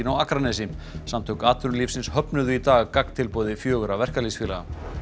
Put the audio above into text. Akranesi samtök atvinnulífsins höfnuðu í dag gagntilboði fjögurra verkalýðsfélaga